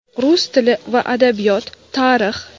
Rus tili va adabiyot, Tarix.